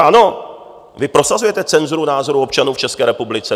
Ano, vy prosazujete cenzuru názorů občanů v České republice.